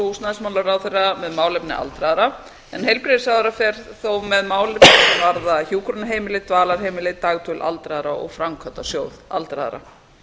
húsnæðismálaráðherra með málefni aldraðra en heilbrigðisráðherra fer þó með mál sem varða hjúkrunarheimili dvalarheimili dagdvöl aldraðra og framkvæmdasjóð aldraðra